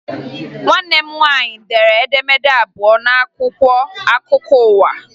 Nwanne m nwaanyị dere edemede abụọ n'akwụkwọ akụkwọ ụwa